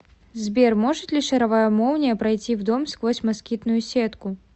сбер может ли шаровая молния пройти в дом сквозь москитную сетку